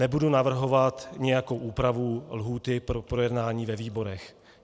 Nebudu navrhovat nějakou úpravu lhůty pro projednání ve výborech.